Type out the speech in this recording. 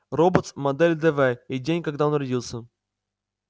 роботс модель дв и день когда он родился